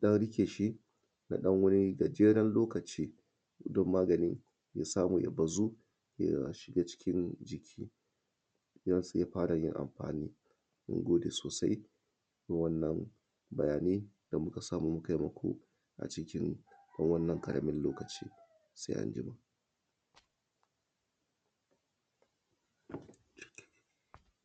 da aka riƙe shi, zai samu ya bazu, ya kuma samu shiga hanyoyin jini, ya zaga cikin jini domin ya samu yin aikin da yakamata ya yi. Bayan kunama shi, kuma sirinji ɗin, sai kusa shi a wurin wanda za a je a zubar da shi ba tare dai a kawo hatsari ma wani ba. Mun gode sawa da wanan bayani ma da muka samu mukai muku a cikin wanan ƙaramin lokaci sai anjima.